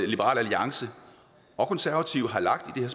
liberal alliance og konservative har lagt en